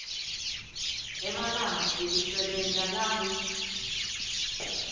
emalanga ekusebenta langu